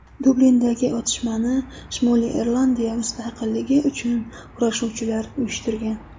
Dublindagi otishmani Shimoliy Irlandiya mustaqilligi uchun kurashuvchilar uyushtirgan.